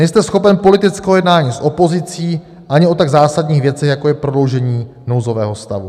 Nejste schopen politického jednání s opozicí ani o tak zásadních věcech, jako je prodloužení nouzového stavu.